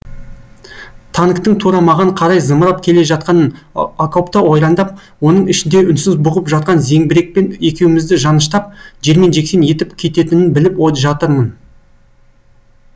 танктың тура маған қарай зымырап келе жатқанын окопты ойрандап оның ішінде үнсіз бұғып жатқан зеңбірекпен екеумізді жаныштап жермен жексен етіп кететінін біліп жатырмын